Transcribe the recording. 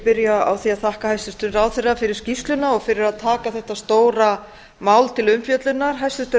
því að þakka hæstvirtum ráðherra fyrir skýrsluna og fyrir að taka þetta stóra mál til umfjöllunar hæstvirtur